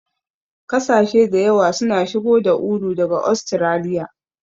Kasashe da yawa suna shigo da ulu daga Ostiraliya.